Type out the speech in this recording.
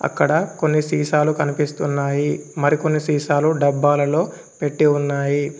అక్కడ కొన్ని సీసాలు కనిపిస్తున్నాయి మరికొన్ని సీసాలు డబ్బాలలో పెట్టి ఉన్నాయి.